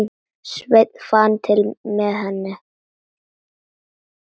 Sveinn fann til með henni.